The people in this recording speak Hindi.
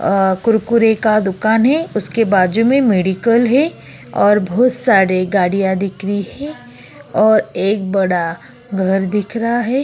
अ कुरकुरे का दुकान है। उसके बाजू में मेडिकल है और बहुत सारी गाड़ियां दिख रही है और एक बड़ा घर दिख रहा है।